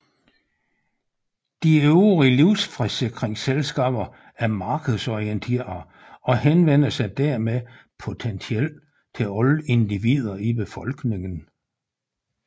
De øvrige livsforsikringsselskaber er markedsorienterede og henvender sig dermed potentielt til alle individer i befolkningen